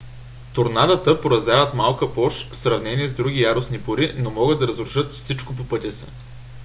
торнадата поразяват малка площ в сравнение с други яростни бури но могат да разрушат всичко по пътя си